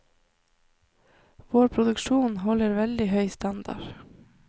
Vår produksjon holder veldig høy standard.